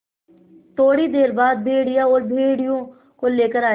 थोड़ी देर बाद भेड़िया और भेड़ियों को लेकर आया